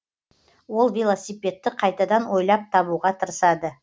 ол велосипедті қайтадан ойлап табуға тырысады